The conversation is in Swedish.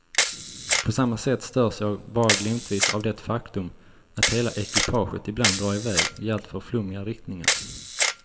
På samma sätt störs jag bara glimtvis av det faktum att hela ekipaget ibland drar i väg i alltför flummiga riktningar.